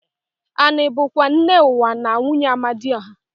Ani bu kwa nne uwa na nwunye Amadioha.